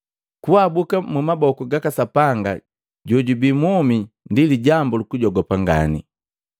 Kuabuka mu maboku gaka Sapanga jojubii mwomi ndi lijambu lukujogopa ngani!